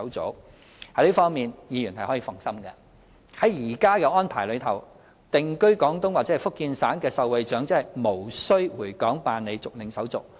在這方面，議員可以放心。按現行安排，定居廣東或福建省的受惠長者無須回港辦理續領手續。